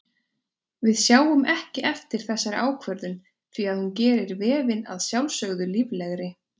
Við sjáum ekki eftir þessari ákvörðun því að hún gerir vefinn að sjálfsögðu líflegri.